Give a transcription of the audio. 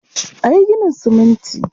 A yi ginin siminti.